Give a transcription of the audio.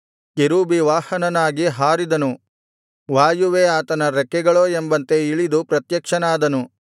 ಕೆರೂಬಿವಾಹನನಾಗಿ ಹಾರಿದನು ವಾಯುವೇ ಆತನ ರೆಕ್ಕೆಗಳೋ ಎಂಬಂತೆ ಇಳಿದು ಪ್ರತ್ಯಕ್ಷನಾದನು